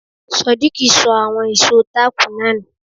Sodiq ṣọ àwọn ìṣó táàkù náà nù.